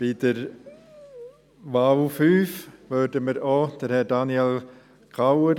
Bei der fünften Wahl unterstützen wir ebenfalls Herrn Daniel Kauer.